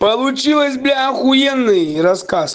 получилось бля ахуенный рассказ